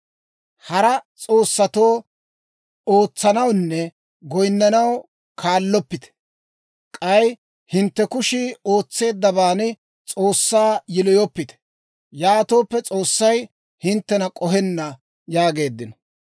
Hara s'oossatoo ootsanawunne goyinnanaw kaalloppite. K'ay hintte kushii ootseeddabaan S'oossaa yiloyoppite. Yaatooppe S'oossay hinttena k'ohenna› yaageeddino.